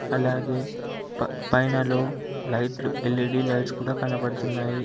అలాగే ప పైనలో లైట్లు ఎల్_ఈ_డీ లైట్స్ కూడా కనబడుతున్నాయి.